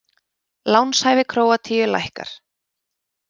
Lánshæfi Króatíu lækkar